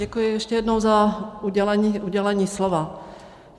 Děkuji ještě jednou za udělení slova.